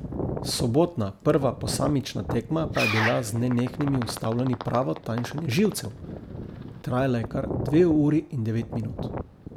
Sobotna prva posamična tekma pa je bila z nenehnimi ustavljanji pravo tanjšanje živcev, trajala je kar dve uri in devet minut.